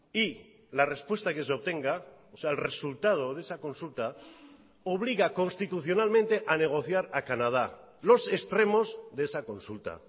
y la respuesta que se obtenga o sea el resultado de esa consulta obliga constitucionalmente a negociar a canadá los extremos de esa consulta